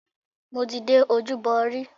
Mo ti dé Ojúbọ rí.